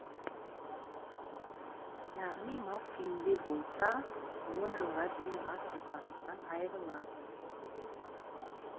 яғни мас күйінде болса он жылға дейін бас бостандығынан айырылады